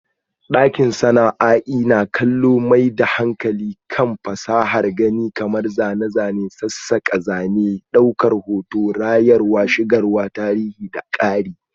Sashen sana'a'i na kallo yana mai da hankali kan fasahar gani kamar zane, zane, sassaka, zane-zane, daukar hoto, rayarwa, shigarwa, tarihi da ƙari.